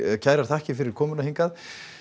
kærar þakkir fyrir komuna hingað